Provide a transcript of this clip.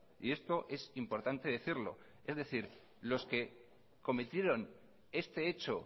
y esto es importante decirlo es decir los que cometieron este hecho